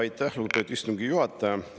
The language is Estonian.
Aitäh, lugupeetud istungi juhataja!